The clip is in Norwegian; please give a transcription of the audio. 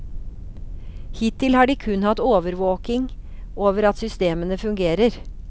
Hittil har de kun hatt overvåking over at systemene fungerer.